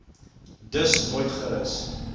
dus nooit gerus